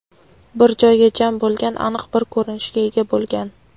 bir joyga jam bo‘lgan… Aniq bir ko‘rinishga ega bo‘lgan.